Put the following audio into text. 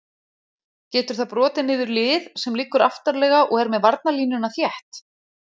Getur það brotið niður lið sem liggur aftarlega og er með varnarlínuna þétt?